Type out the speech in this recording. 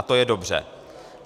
A to je dobře.